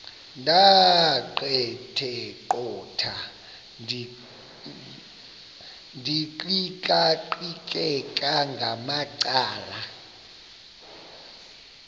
ndaqetheqotha ndiqikaqikeka ngamacala